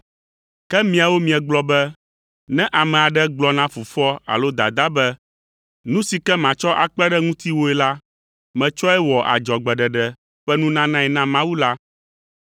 Ke miawo miegblɔ be, ne ame aɖe gblɔ na fofoa alo dadaa be, ‘Nu si ke matsɔ akpe ɖe ŋutiwòe la, metsɔe wɔ adzɔgbeɖeɖe ƒe nunanae na Mawu’ la,